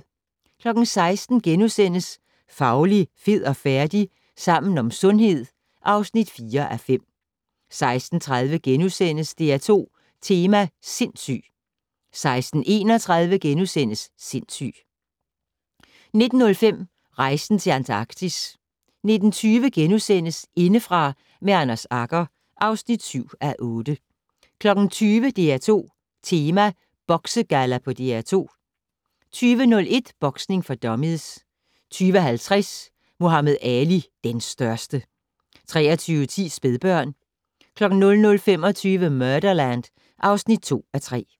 16:00: Fauli, fed og færdig? - Sammen om sundhed (4:5)* 16:30: DR2 Tema: Sindssyg * 16:31: Sindssyg * 19:05: Rejsen til Antarktis 19:20: Indefra med Anders Agger (7:8)* 20:00: DR2 Tema: Boksegalla på DR2 20:01: Boksning for dummies 20:50: Muhammad Ali - den største! 23:10: Spædbørn 00:25: Murderland (2:3)